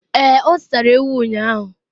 ee, o zụtara ewu ụnyahụ